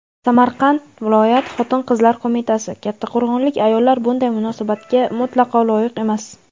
Samarqand viloyat xotin-qizlar qo‘mitasi: Kattaqo‘rg‘onlik ayollar bunday munosabatga mutlaqo loyiq emas.